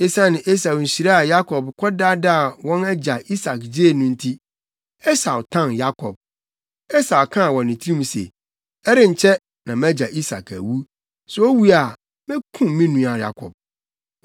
Esiane Esau nhyira a Yakob kɔdaadaa wɔn agya Isak gyee no nti, Esau tan Yakob. Esau kaa wɔ ne tirim se, “Ɛrenkyɛ, na mʼagya Isak awu. Sɛ owu a, mekum me nua Yakob.”